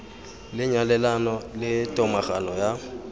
le nyalelano le tomagano ya